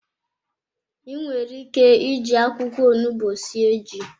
Inwere ike ịji akwụkwọ onugbu sie ji.